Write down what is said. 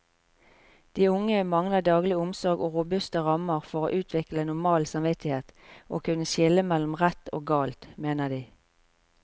De unge mangler daglig omsorg og robuste rammer for å utvikle normal samvittighet og kunne skille mellom rett og galt, mener de.